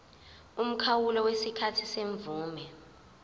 umkhawulo wesikhathi semvume